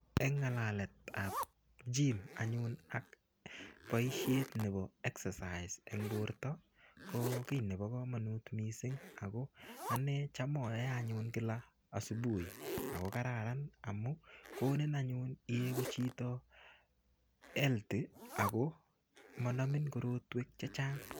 Eng ng'alaletap gym anyun ak boisiet nebo exercise eng borto, ko kiy nebo komonut missing. Ako ane cham aae anyun kila asubuhi. Ako kararan amu konin anyun iegu chito healthy, ako manamin korotwek chechang'.